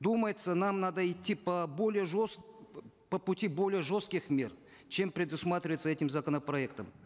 думается нам надо идти по более по пути более жестких мер чем предусматривается этим законопроектом